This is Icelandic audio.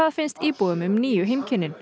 finnst íbúum um nýju